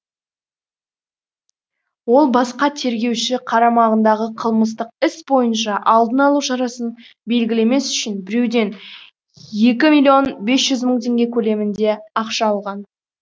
ол басқа тергеуші қарамағындағы қылмыстық іс бойынша алдын алу шарасын белгілемес үшін біреуден екі миллион бес жүз мың теңге көлемінде ақша алған